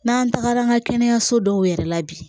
N'an tagara an ka kɛnɛyaso dɔw yɛrɛ la bi